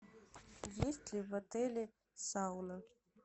есть ли в отеле сауна